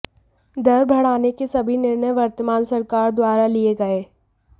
दर बढ़ाने के सभी निर्णय वर्तमान सरकार द्वारा लिए गए